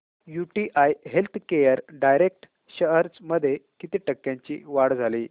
UTI healthcare direct shares मध्ये किती टक्क्यांची वाढ झाली